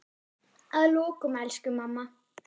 Að lokum, elsku mamma.